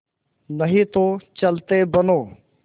नहीं तो चलते बनो